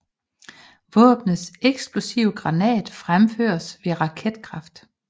Våbnets ekslopive granat fremføres ved raketkraft